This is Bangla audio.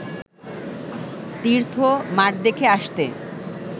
তীর্থ মাঠ দেখে আসতে